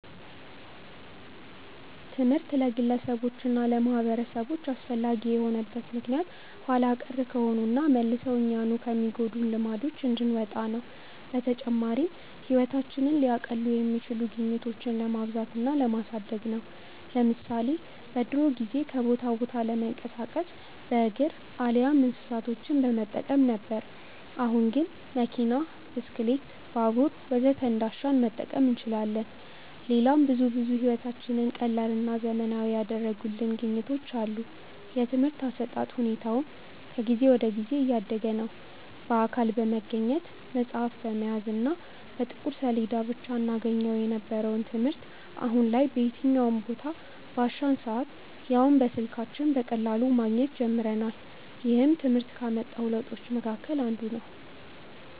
ትምህርት ለግለሰቦች እና ለማህበረሰቦች አስፈላጊ የሆነበት ምክንያት ኋላ ቀር ከሆኑና መልሰው እኛኑ ከሚጎዱን ልማዶች እንድንወጣ ነው። በተጨማሪም ህይወታችንን ሊያቀሉ የሚችሉ ግኝቶችን ለማብዛት እና ለማሳደግ ነው። ለምሳሌ በድሮ ጊዜ ከቦታ ቦታ ለመንቀሳቀስ በእግር አሊያም እንስሳቶችን በመጠቀም ነበር። አሁን ግን መኪና፣ ብስክሌት፣ ባቡር ወዘተ እንዳሻን መጠቀም እንችላለን። ሌላም ብዙ ብዙ ህይወታችንን ቀላልና ዘመናዊ ያደረጉልን ግኝቶች አሉ። የትምርህት አሰጣጥ ሁኔታውም ከጊዜ ወደ ጊዜ እያደገ ነዉ። በአካል በመገኘት፣ መፅሀፍ በመያዝ እና በጥቁር ሰሌዳ ብቻ እናገኘው የነበረውን ትምህርት አሁን ላይ በየትኛውም ቦታ፣ ባሻን ሰአት ያውም በስልካችን በቀላሉ ማግኘት ጀምረናል። ይህም ትምህርት ካመጣው ለውጦች መሀከል አንዱ ነው።